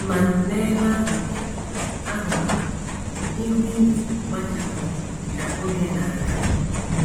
Ma n’ebe ahụkwa ahụkwa, ihu igwe gbachapụrụ ka oge na - aga.